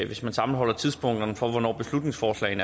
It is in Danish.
hvis man sammenholder tidspunkterne for hvornår beslutningsforslaget